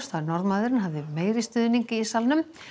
að Norðmaðurinn hafði meiri stuðning í salnum